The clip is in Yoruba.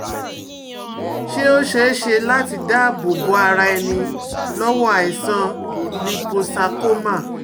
Ṣé ó ṣeé ṣe láti dáàbò bo ara ẹni lọ́wọ́ aisan líposarcoma?